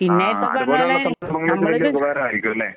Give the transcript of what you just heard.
ആഹ്. അതുപോലുള്ള സന്ദർഭങ്ങളിൽ ഒരു ഉപകാരമായിരിക്കും അല്ലെ.